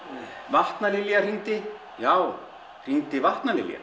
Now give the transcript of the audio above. vatnalilja hringdi já hringdi